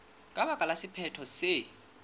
ka baka la sephetho se